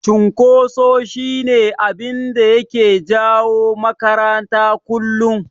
Cunkoso shi ne abinda yake jawo makarata kullum.